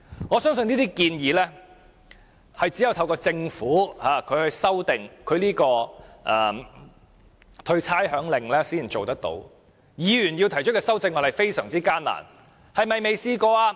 我相信這些方案只能透過政府修訂豁免差餉令才能做到，而議員提出的修正案卻極難獲得通過。